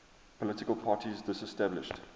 political parties disestablished